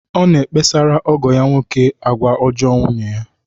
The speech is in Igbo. Ọ na-ekpesara ọgọ ya nwoke agwa ọjọọ nwunye.